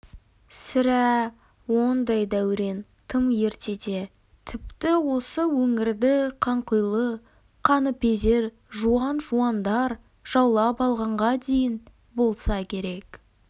сірә ондай дәурен тым ертеде тіпті осы өңірді қанқұйлы қаныпезер жуан-жуандар жаулап алғанға дейін болса керек